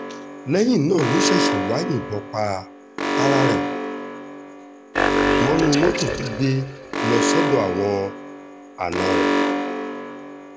lẹ́yìn náà ló ṣẹ̀ṣẹ̀ wáá yìnbọn pa ara rẹ̀ mọ́nú mọ́tò tó gbé lọ sọ́dọ̀ àwọn àna rẹ̀